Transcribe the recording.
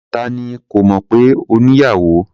Ta ni kò mọ̀ pé o ní ìyàwò?